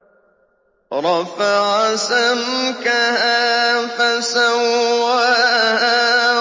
رَفَعَ سَمْكَهَا فَسَوَّاهَا